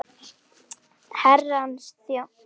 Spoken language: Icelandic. Herrans þjónn það ber.